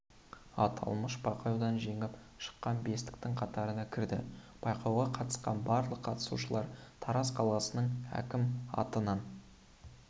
аталмыш байқаудан жеңіп шыққан бестіктің қатарына кірді байқауға қатысқан барлық қатысушылар тараз қаласының әкімі атынан